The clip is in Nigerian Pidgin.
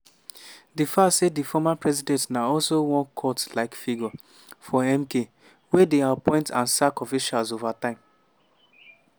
di fact say di former president na also one cult-like figure for mk wey dey appoint and sack officials evritime.